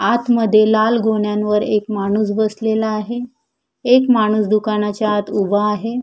आतमध्ये लाल गोण्यावर एक माणूस बसलेला आहे एक माणूस दुकानाच्या आत उभा आहे.